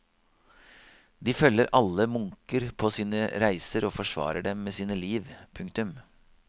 De følger alle munker på sine reiser og forsvarer dem med sine liv. punktum